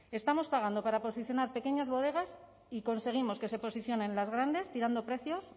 estamos pagando para posicionar pequeñas bodegas y conseguimos que se posicionen las grandes tirando precios